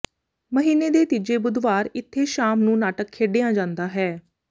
ਮਹੀਨੇ ਦੇ ਤੀਜੇ ਬੁੱਧਵਾਰ ਇਥੇ ਸ਼ਾਮ ਨੂੰ ਨਾਟਕ ਖੇਡਿਆਂ ਜਾਂਦਾ ਹੈ